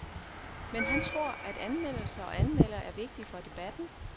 Men han tror, at anmeldelser og anmeldere er vigtige for debatten.